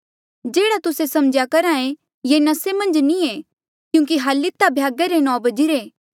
जेह्ड़ा तुस्से सम्झेया करहा ऐें ये नसे मन्झ नी ऐें क्यूंकि हली ता भ्यागा रे नौ बजी रे